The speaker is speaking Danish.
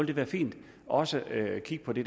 det være fint også at kigge på det